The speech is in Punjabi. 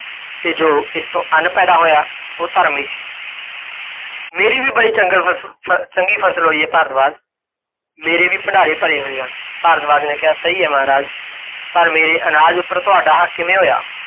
ਤੇ ਜੋ ਇਸ ਤੋਂ ਅੰਨ ਪੈਦਾ ਹੋਇਆ, ਓਹ ਧਰਮ ਹੀ ਸੀ। ਮੇਰੀ ਵੀ ਬੜੀ ਚੰਗਲ ਫਸ ਚੰਗੀ ਫ਼ਸਲ ਹੋਈ ਹੈ ਭਾਰਦਵਾਜ, ਮੇਰੇ ਵੀ ਭੰਡਾਰੇ ਭਰੇ ਹੋਏ ਹਨ। ਭਾਰਦਵਾਜ ਨੇ ਕਿਹਾ, ਸਹੀ ਹੈ ਮਹਾਰਾਜ, ਪਰ ਮੇਰੇ ਅਨਾਜ ਉੱਪਰ ਤੁਹਾਡਾ ਹੱਕ ਕਿਵੇਂ ਹੋਇਆ?